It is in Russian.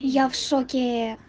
и я в шоке